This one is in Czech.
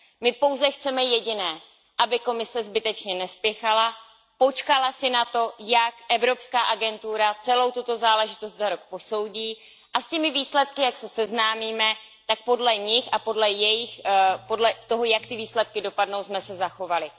My pouze chceme jediné, aby Komise zbytečně nespěchala, počkala si na to, jak evropská agentura celou tuto záležitost za rok posoudí a s těmi výsledky, jak se seznámíme, tak podle nich a podle toho, jak ty výsledky dopadnou, abychom se zachovali.